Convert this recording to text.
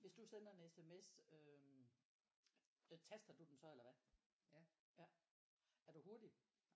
Hvis du sender en SMS øh taster du den så eller hvad ja er du hurtig?